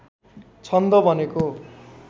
छन्द भनेको